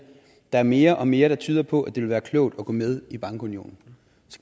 der er mere og mere der tyder på at det vil være klogt at gå med i bankunionen